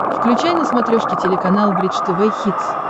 включай на смотрешке телеканал бридж тв хитс